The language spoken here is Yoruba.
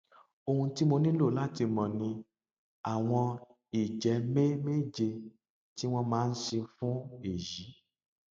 ohun tí mo nílò láti mọ ni àwọn ìjẹmẹmẹẹjẹ tí wọn máa ń ṣe fún èyí